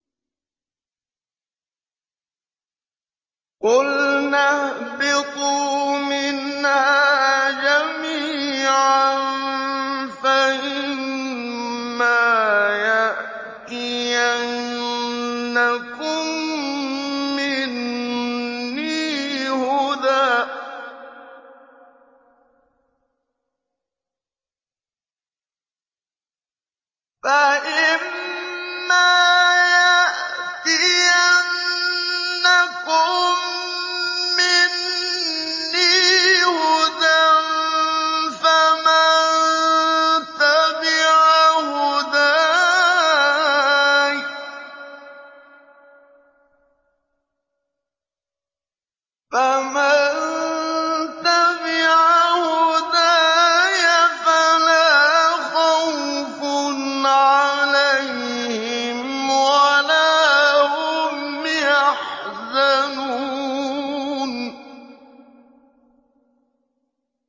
قُلْنَا اهْبِطُوا مِنْهَا جَمِيعًا ۖ فَإِمَّا يَأْتِيَنَّكُم مِّنِّي هُدًى فَمَن تَبِعَ هُدَايَ فَلَا خَوْفٌ عَلَيْهِمْ وَلَا هُمْ يَحْزَنُونَ